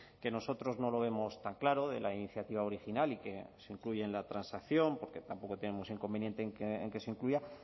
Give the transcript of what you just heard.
que nosotros no lo vemos tan claro de la iniciativa original y que se incluye en la transacción porque tampoco tenemos inconveniente en que se incluya